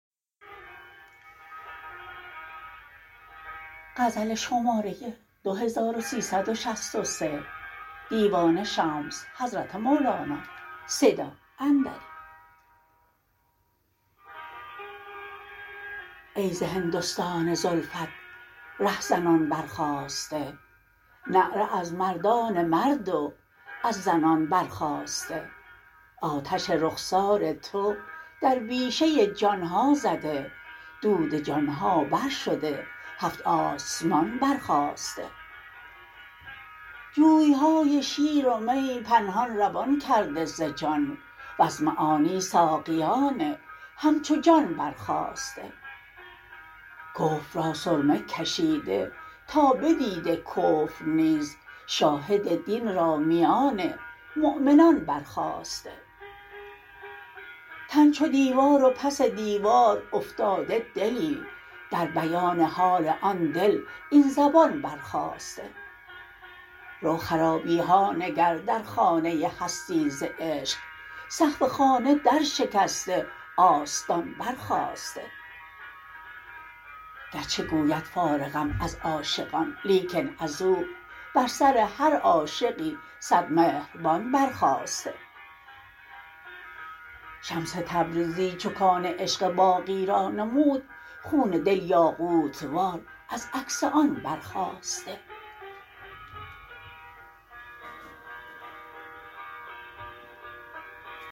ای ز هندستان زلفت رهزنان برخاسته نعره از مردان مرد و از زنان برخاسته آتش رخسار تو در بیشه جان ها زده دود جان ها برشده هفت آسمان برخاسته جوی های شیر و می پنهان روان کرده ز جان وز معانی ساقیان همچو جان برخاسته کفر را سرمه کشیده تا بدیده کفر نیز شاهد دین را میان مؤمنان برخاسته تن چو دیوار و پس دیوار افتاده دلی در بیان حال آن دل این زبان برخاسته رو خرابی ها نگر در خانه هستی ز عشق سقف خانه درشکسته آستان برخاسته گرچه گوید فارغم از عاشقان لیکن از او بر سر هر عاشقی صد مهربان برخاسته شمس تبریزی چو کان عشق باقی را نمود خون دل یاقوت وار از عکس آن برخاسته